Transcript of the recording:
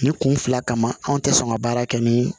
Nin kun fila kama anw tɛ sɔn ka baara kɛ ni